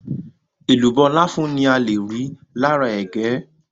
Èlùbọ́ láfún ni ale rí lára ẹ̀gẹ́.